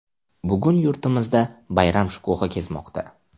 Bugun yurtimizda bayram shukuhi kezmoqda.